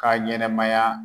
K'a ɲɛnɛmaya